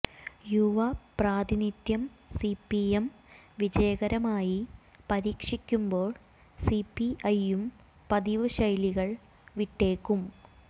യുവ പ്രാതിനിധ്യം സിപിഎം വിജയകരമായി പരീക്ഷിക്കുമ്പോൾ സിപിഐയും പതിവ് ശൈലികൾ വിട്ടേക്കും